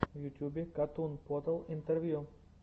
в ютьюбе катун потал интервью